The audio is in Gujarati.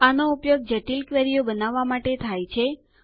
આનો ઉપયોગ જટિલ ક્વેરીઓ બનાવવાં માટે થાય છે